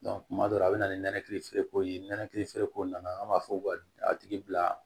kuma dɔ la a bɛ na ni nɛnɛkili feereko ye nɛnɛkili feereko nana an b'a fɔ a tigi bila